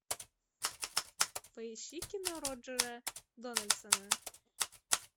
поищи кино роджера дональдсона